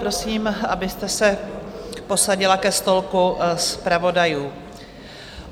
Prosím, abyste se posadila ke stolku zpravodajů.